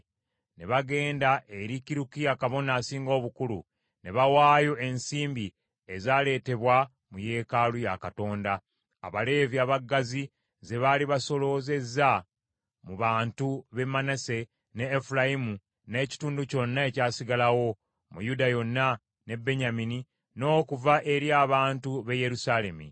Ne bagenda eri Kirukiya kabona asinga obukulu ne bawaayo ensimbi ezaaleetebwa mu yeekaalu ya Katonda, Abaleevi abaggazi ze baali basoloozezza mu bantu b’e Manase, ne Efulayimu, n’ekitundu kyonna ekyasigalawo, ne Yuda yonna, ne Benyamini, n’okuva eri abantu b’e Yerusaalemi.